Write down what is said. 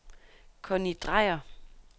Conni Dreyer